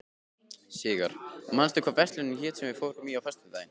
Sigarr, manstu hvað verslunin hét sem við fórum í á föstudaginn?